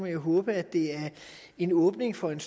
jo håbe at det er en åbning for en